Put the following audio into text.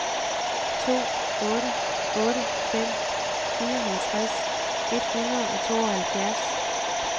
to otte otte fem fireogtres et hundrede og tooghalvfjerds